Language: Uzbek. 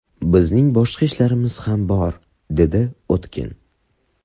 Bizning boshqa ishlarimiz ham bor’”, dedi Utkin.